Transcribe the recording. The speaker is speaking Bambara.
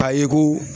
Ka yi ko